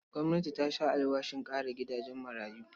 Gwamnati ta sha alwashin ƙara gidajen marayu.